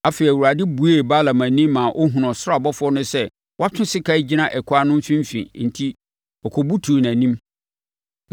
Afei, Awurade buee Balaam ani ma ɔhunuu ɔsoro ɔbɔfoɔ no sɛ watwe sekan gyina ɛkwan no mfimfini enti ɔkɔbutuu nʼanim.